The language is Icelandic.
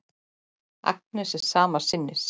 Agnes er sama sinnis.